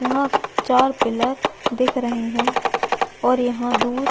यहाँ चार पिलर दिख रहै है और यहाँ दूर --